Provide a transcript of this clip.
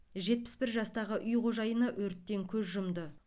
жетпіс бір жастағы үй қожайыны өрттен көз жұмды